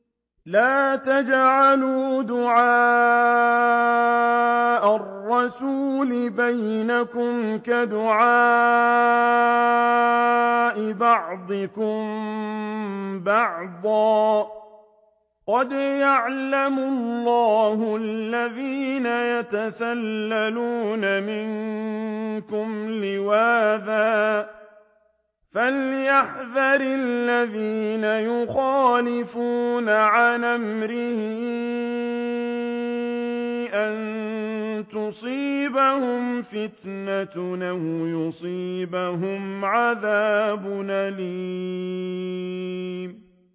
لَّا تَجْعَلُوا دُعَاءَ الرَّسُولِ بَيْنَكُمْ كَدُعَاءِ بَعْضِكُم بَعْضًا ۚ قَدْ يَعْلَمُ اللَّهُ الَّذِينَ يَتَسَلَّلُونَ مِنكُمْ لِوَاذًا ۚ فَلْيَحْذَرِ الَّذِينَ يُخَالِفُونَ عَنْ أَمْرِهِ أَن تُصِيبَهُمْ فِتْنَةٌ أَوْ يُصِيبَهُمْ عَذَابٌ أَلِيمٌ